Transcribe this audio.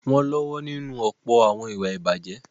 Wọ́n lọ́wọ́ nínú ọ̀pọ̀ àwọn ìwà ìbàjẹ́.